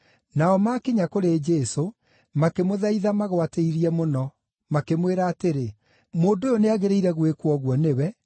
Nao maakinya kũrĩ Jesũ, makĩmũthaitha magwatĩirie mũno, makĩmwĩra atĩrĩ, “Mũndũ ũyũ nĩagĩrĩirwo gwĩkwo ũguo nĩwe,